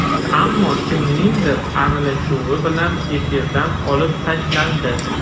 Ammo kimningdir aralashuvi bilan efirdan olib tashlandi.